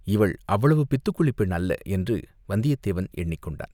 இவள் அவ்வளவு பித்துக்குளிப் பெண் அல்ல என்று வந்தியத்தேவன் எண்ணிக்கொண்டான்.